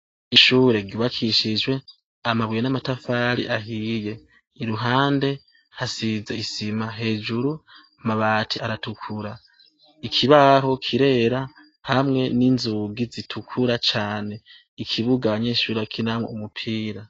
Ishure gibakishijwe amabuye n'amatafari ahiye iruhande hasize isima hejuru mabati aratukura ikibaho kirera hamwe n'inzugi zitukura cane ikibuganyinshura kinamwe umupira.